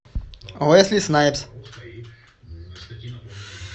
уэсли снайпс